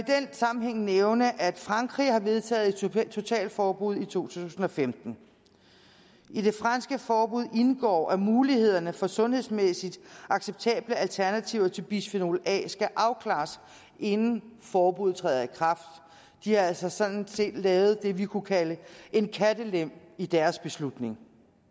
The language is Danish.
sammenhæng nævne at frankrig har vedtaget et totalforbud i to tusind og femten i det franske forbud indgår at mulighederne for sundhedsmæssigt acceptable alternativer til bisfenol a skal afklares inden forbuddet træder i kraft de har altså sådan set lavet det vi kunne kalde en kattelem i deres beslutning